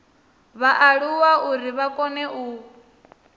vhaaluwa uri vha kone u